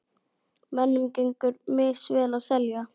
Mönnum gengur misvel að selja.